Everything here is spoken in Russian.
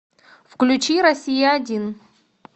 включи россия один